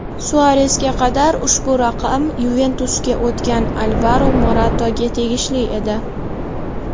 Suaresga qadar ushbu raqam "Yuventus"ga o‘tgan Alvaro Morataga tegishli edi.